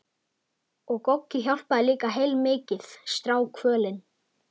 Og Goggi hjálpaði líka heilmikið, strákkvölin.